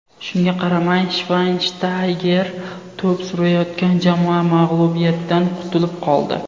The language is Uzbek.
Shunga qaramay, Shvaynshtayger to‘p surayotgan jamoa mag‘lubiyatdan qutulib qoldi.